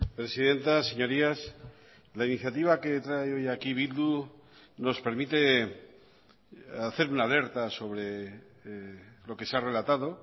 presidenta señorías la iniciativa que trae hoy aquí bildu nos permite hacer una alerta sobre lo que se ha relatado